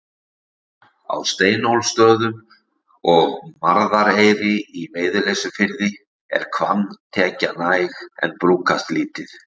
Á Steinólfsstöðum og Marðareyri í Veiðileysufirði, er hvannatekja næg en brúkast lítið.